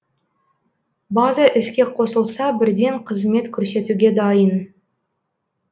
база іске қосылса бірден қызмет көрсетуге дайын